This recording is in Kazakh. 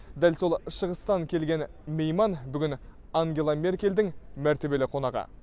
дәл сол шығыстан келген мейман бүгін ангела меркельдің мәртебелі қонағы